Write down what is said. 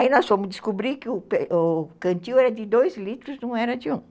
Aí nós fomos descobrir que o cantinho era de dois litros, não era de um.